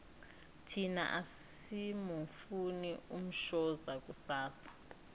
thina asimufuni umshoza kusasa